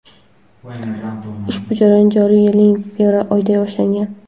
Ushbu jarayon joriy yilning fevral oyida boshlangan.